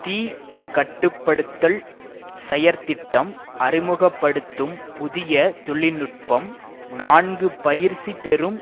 தீ கட்டு படுத்தல் செயற்திட்டம் அறிமுக படுத்தும் புதிய தொழில்நுட்பம் நான்கு பயிற்சி பெறும்